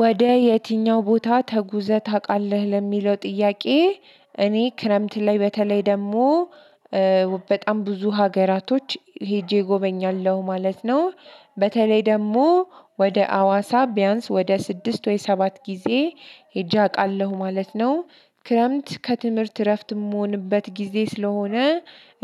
ወደ የትኛው ቦታ ተጉዘህ ታውቃለህ? ለሚለው ጥያቄ እኔ ክረምት ላይ በተለይ ደግሞ በጣም ብዙ ሀገራቶች ሄጄ እጎበኛለሁ ማለት ነው። በተለይ ደግሞ ወደ አዋሳ ቢያንስ ወደ ስድስት ወይ ሰባት ጊዜ ሄጄ አውቃለሁ ማለት ነው። ክረምት ከትምህርት እረፍት እምሆንበት ጊዜ ስለሆነ።